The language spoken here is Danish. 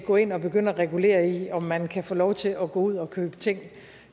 gå ind og begynde at regulere i om man kan få lov til at gå ud og købe ting